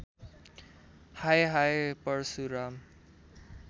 हाय हाय परशुराम